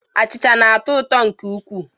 Achịcha na-atọ ụtọ nke ukwuu